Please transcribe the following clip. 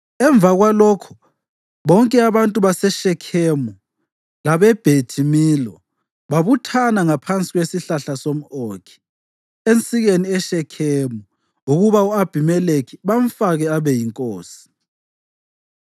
Emva kwalokho bonke abantu baseShekhemu labeBhethi Milo babuthana ngaphansi kwesihlahla somʼOkhi ensikeni eShekhemu ukuba u-Abhimelekhi bamfake abe yinkosi.